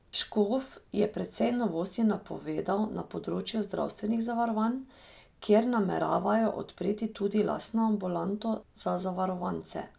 Škof je precej novosti napovedal na področju zdravstvenih zavarovanj, kjer nameravajo odpreti tudi lastno ambulanto za zavarovance.